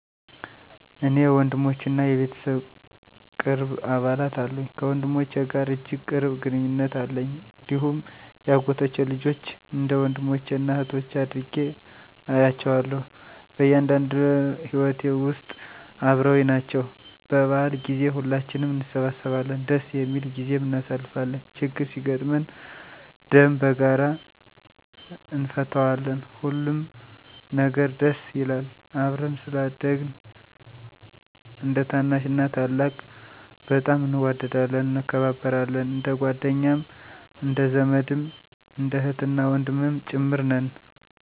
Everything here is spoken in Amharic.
እኔ ወንድሞችና የቤተሰብ ቅርብ አባላት አሉኝ። ከወንድሞቼ ጋር እጅግ ቅርብ ግንኙነት አለኝ፣ እንዲሁም የአጎቶቼ ልጆችን እንደ ወንድሞቼና እኅቶቼ አድርጌ እያቸዋለሁ። በእያንዳንዱ ሂወቴ ውስጥ አበረውኝ ናቸው። በበዓል ጊዜ ሁላችንም እንሰበሰባለን ደስ የሚል ጊዜም እናሳልፋለን። ችግር ሲገጥመን ደም በጋራ እነፈታዋለን፣ ሁሉም ነገር ደስ ይላል። አብረን ስላደግን እንደታናሽና ታላቅ በጣም እንዋደዳለን፣ እንከባበራለን። እንደጓደኛም እንደዘመድም እንደ እህትና ወንድምም ጭምር ነን።